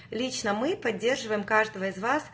лично мы поддерживаем каждого из вас